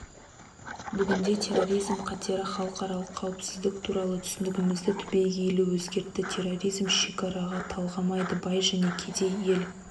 бүгінде терроризм қатері халықаралық қауіпсіздік туралы түсінігімізді түбегейлі өзгертті терроризм шекара талғамайды бай және кедей ел